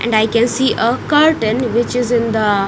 And i can see a curtain which is in the--